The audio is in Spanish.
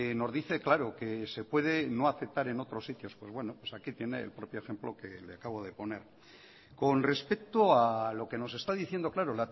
nos dice claro que se puede no aceptar en otros sitios pues bueno pues aquí tiene el propio ejemplo que le acabo de poner con respecto a lo que nos está diciendo claro